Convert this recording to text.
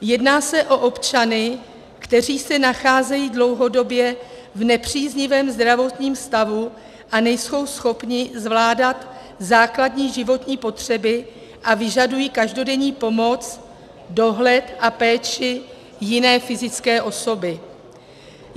Jedná se o občany, kteří se nacházejí dlouhodobě v nepříznivém zdravotním stavu a nejsou schopni zvládat základní životní potřeby a vyžadují každodenní pomoc, dohled a péči jiné fyzické osoby.